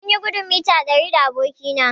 Mun yi gudun mita ɗari da aboki na